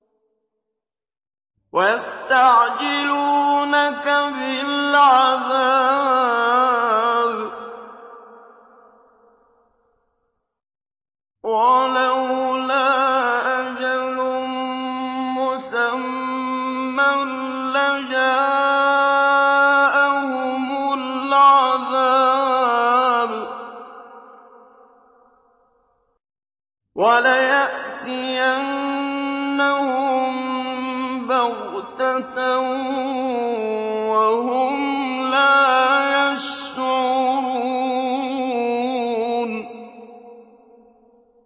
وَيَسْتَعْجِلُونَكَ بِالْعَذَابِ ۚ وَلَوْلَا أَجَلٌ مُّسَمًّى لَّجَاءَهُمُ الْعَذَابُ وَلَيَأْتِيَنَّهُم بَغْتَةً وَهُمْ لَا يَشْعُرُونَ